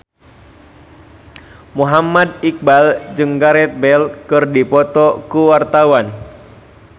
Muhammad Iqbal jeung Gareth Bale keur dipoto ku wartawan